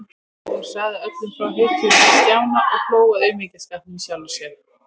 Og hún sagði öllum frá hetjulund Stjána og hló að aumingjaskapnum í sjálfri sér.